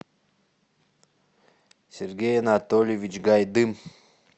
сергей анатольевич гайдым